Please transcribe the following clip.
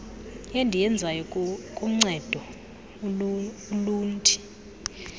endiyenzayo kuncedo ulundi